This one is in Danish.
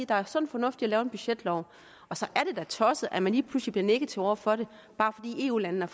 der er sund fornuft i at lave en budgetlov så er det da tosset at man lige pludselig bliver negativ over for det bare fordi eu landene